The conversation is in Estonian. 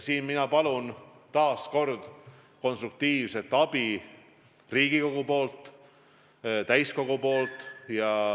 Siin ma palun taas konstruktiivset abi Riigikogu täiskogult.